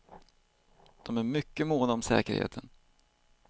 De är mycket måna om säkerheten.